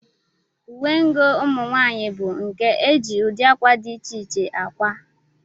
Uwengụ ụmụnwaanyị bụ nke e ji ụdị akwa dị iche iche akwa